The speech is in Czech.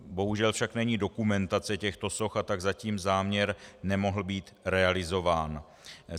Bohužel však není dokumentace těchto soch, a tak zatím záměr nemohl být realizován.